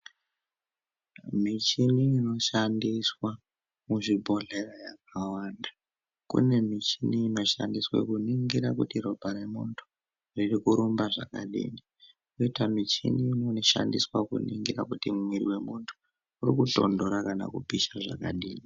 Michini inoshandiswa muzvibhodhlera kune michini inoshandiswa kuningira kuti ropa remuntu riri kurumba zvakadini koita muchini inoshandiswa kuongorora kuti muviri vemuntu uri kutondora kana kupisha zvakadini.